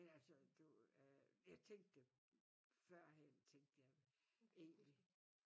Men altså du øh jeg tænkte forhen tænkte jeg egentlig